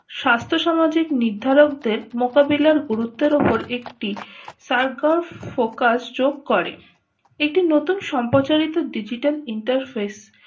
স্বাস্থ্য সামাজিক নির্ধারক দের মোকাবিলার গুরুত্বের উপর একটি focus যোগ করে একটি নতুন সম্প্রচারিত digital interface